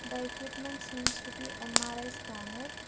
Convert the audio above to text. The equipments seems to be M_R_I scanner.